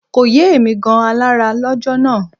Kò yé èmi gan alára lọ́jọ́ náà